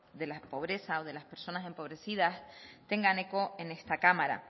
de la pobreza o de las personas empobrecidas tengan eco en esta cámara